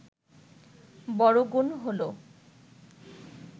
বড় গুণ হলো